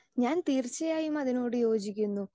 Speaker 2 ഞാൻ തീർച്ചയായും അതിനോട് യോജിക്കുന്നു.